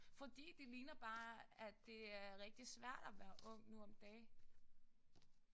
Fordi det ligner bare at det er rigtig svært at være ung nu om dage